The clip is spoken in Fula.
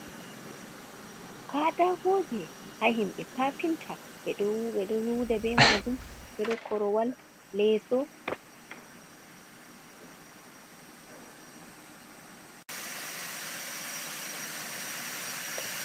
Kadtakoje ha himɓe kafinta, ɓeɗo luuda be majun ɓeɗo korowal leeso.